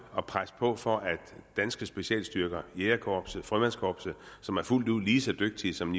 at presse på for at danske specialstyrker jægerkorpset frømandskorpset som er fuldt ud lige så dygtige som